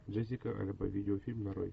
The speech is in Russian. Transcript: джессика альба видеофильм нарой